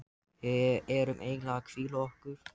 Við erum eiginlega að hvíla okkur.